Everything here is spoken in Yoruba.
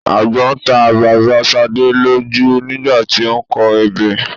agbọ́n ta bàbá Ṣadé lójú nígbà tí ó ń kọ ebè